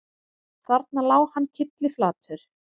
Þarna lá hann kylliflatur